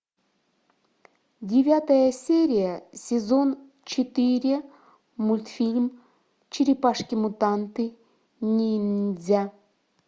девятая серия сезон четыре мультфильм черепашки мутанты ниндзя